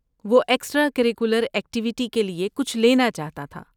وہ extra curricular activity کے لیے کچھ لینا چاہتا تھا۔